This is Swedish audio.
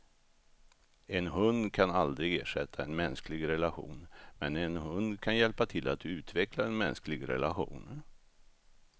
En hund kan aldrig ersätta en mänsklig relation, men en hund kan hjälpa till att utveckla en mänsklig relation.